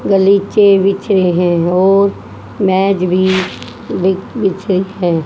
गलीचे बिछ रहे हैं और मेज भी बी बिछे है।